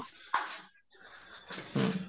ହୁଁ